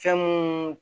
Fɛn mun